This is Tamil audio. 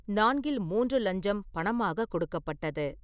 நான்கில் மூன்று லஞ்சம் பணமாக கொடுக்கப்பட்டது.